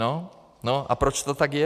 No, a proč to tak je?